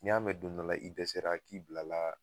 N'i y'a mɛn don dɔ la i dɛsɛra k'i bila la